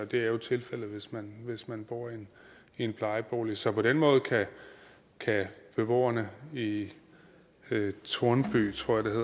det er jo tilfældet hvis man hvis man bor i en plejebolig så på den måde kan beboerne i i tornby